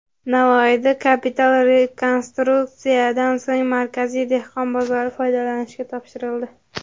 Navoiyda kapital rekonstruksiyadan so‘ng markaziy dehqon bozori foydalanishga topshirildi.